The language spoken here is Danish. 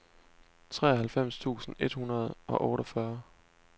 treoghalvfems tusind et hundrede og otteogfyrre